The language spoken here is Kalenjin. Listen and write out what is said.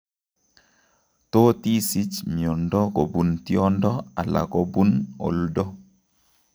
Totisich miondo kobun tiondo ala kobun oldo